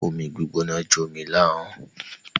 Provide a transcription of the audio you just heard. Omi gbígbóná jó mi láhọ́n.